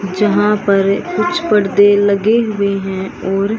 जहां पर कुछ पर्दे लगे हुए हैं और--